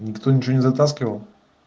никто ничего не затаскивал